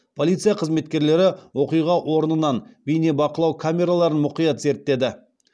полиция қызметкерлері оқиға орнынан бейнебақылау камераларын мұқият зерттеді